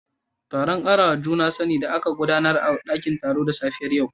Taron karawa juna sani da aka gudanar a dakin taro da safiyar yau